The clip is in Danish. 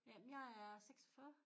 Jamen jeg er 46